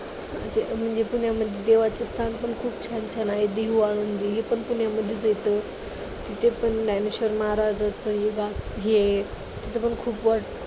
म्हणजे पुण्यामध्ये खूप छान छान आहे. देहू आळंदी हे पण पुण्यामध्येच येतं. तिथे पण ज्ञानेश्वर महाराजाचं तिथं पण खूप